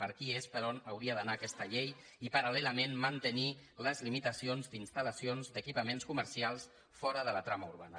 per aquí és per on hauria d’anar aquesta llei i paral·lelament mantenir les limitacions d’instal·lacions o equipaments comercials fora de la trama urbana